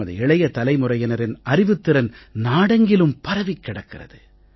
நமது இளைய தலைமுறையினரின் அறிவுத் திறன் நாடெங்கிலும் பரவிக் கிடக்கிறது